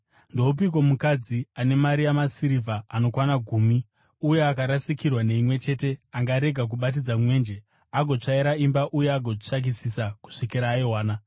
“Ndoupiko mukadzi ane mari yamasirivha anokwana gumi uye akarasikirwa neimwe chete angarega kubatidza mwenje, agotsvaira imba uye agotsvakisisa kusvikira aiwana?